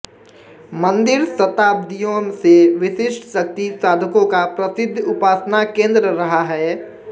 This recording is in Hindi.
मंदिर शताब्दियों से विशिष्ट शक्ति साधकों का प्रसिद्ध उपासना केन्द्र रहा है